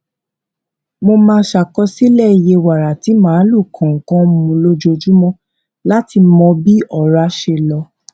a máa ṣàkọsílẹ iye wàrà tí màlúù kọọkan mu lójoojúmọ láti mọ bí ọrá ṣe lọ